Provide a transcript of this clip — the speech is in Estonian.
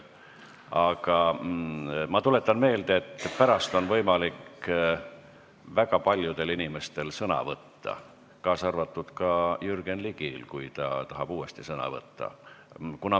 Aga ma tuletan meelde, et pärast on võimalik väga paljudel inimestel sõna võtta, kaasa arvatud Jürgen Ligil, kui ta tahab uuesti sõna võtta.